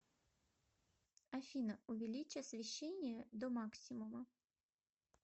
афина увеличь освещение до максимума